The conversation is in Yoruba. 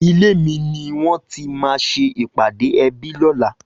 Ilé mi niwòn ti mà sé ipàdé èbí lòlá